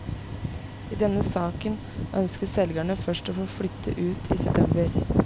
I denne saken ønsket selgerne først å flytte ut i september.